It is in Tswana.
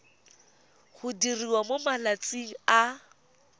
go diriwa mo malatsing a